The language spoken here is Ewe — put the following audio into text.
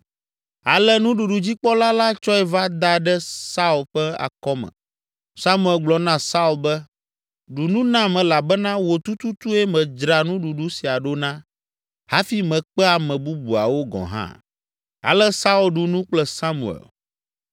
Ale nuɖuɖudzikpɔla la tsɔe va da ɖe Saul ƒe akɔme. Samuel gblɔ na Saul be, “Ɖu nu nam elabena wò tututue medzra nuɖuɖu sia ɖo na hafi mekpe ame bubuawo gɔ̃ hã!” Ale Saul ɖu nu kple Samuel.